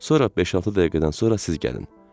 Sonra beş-altı dəqiqədən sonra siz gəlin.